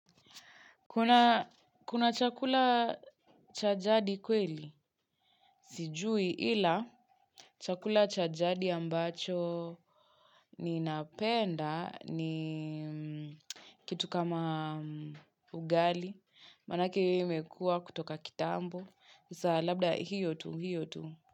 Kuna chakula cha jadi kweli, sijui ila chakula cha jadi ambacho ninapenda ni kitu kama ugali, manake imekua kutoka kitambo, kisa labda hiyo tu, hiyo tu.